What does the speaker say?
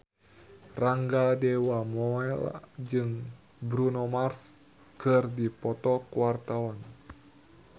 Rangga Dewamoela jeung Bruno Mars keur dipoto ku wartawan